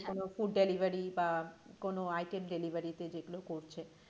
যেকোন food delivery বা কোন item delivery তে যেগুলো করছে,